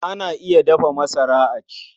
Ana iya dafa masara a ci.